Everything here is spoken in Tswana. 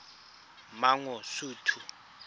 mangosuthu